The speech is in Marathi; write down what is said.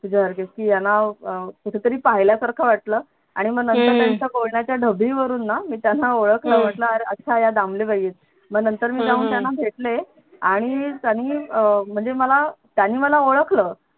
तुझ्या सारखीच की यांना कुठे तरी पाहिल्यासारखं वाटलं आणि मग नंतर त्यांच्या बोलण्याच्या डबीवरून ना मी त्याना ओळखलं अरे अच्छा या दामले बाई आहेत मग नंतर मी जाऊन त्यांना भेटले आणि त्यांनी अं म्हणजे मला त्यांनी मला ओळखलं